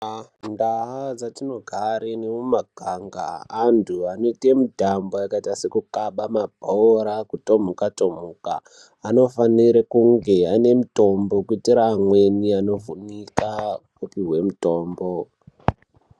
Ndaa dzatinogara nemumaganga, antu anoite mitambo yakaita sekukaba mabhora nekutomhuka, anofanira kunge ane mutombo kuitira amweni anovhunika opuhwe mitombo.